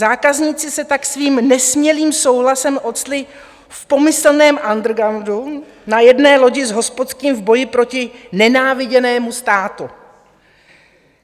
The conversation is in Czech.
Zákazníci se tak svým nesmělým souhlasem ocitli v pomyslném undergroundu na jedné lodi s hospodským v boji proti nenáviděnému státu.